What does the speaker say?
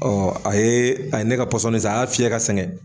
Ɔ a ye a ye ne ka pɔsɔni san a y'a fiyɛ ka sɛgɛn